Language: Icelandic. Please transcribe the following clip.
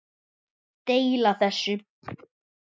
Deila þessu